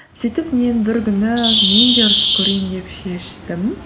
сөйтіп мен бір күні мен де ұрысып көрейін деп шештім